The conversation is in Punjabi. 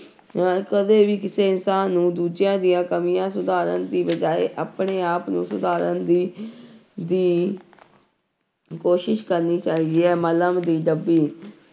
ਹਾਂ ਕਦੇ ਵੀ ਕਿਸੇ ਇਨਸਾਨ ਨੂੰ ਦੂਜਿਆਂ ਦੀਆਂ ਕਮੀਆਂ ਸੁਧਾਰਨ ਦੀ ਬਜਾਏ ਆਪਣੇ ਆਪ ਨੂੰ ਸੁਧਾਰਨ ਦੀ ਦੀ ਕੋਸ਼ਿਸ਼ ਕਰਨੀ ਚਾਹੀਦਾ ਹੈ